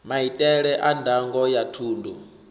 maitele a ndango ya thundu